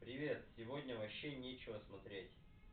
привет сегодня вообще нечего смотреть